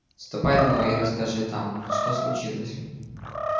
ступай домой и расскажи там что случилось